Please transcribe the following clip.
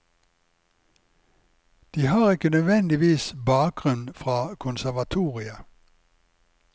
De har ikke nødvendigvis bakgrunn fra konservatoriet.